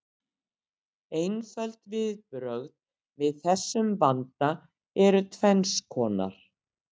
Einföld viðbrögð við þessum vanda eru tvenns konar.